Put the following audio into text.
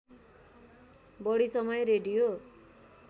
बढी समय रेडियो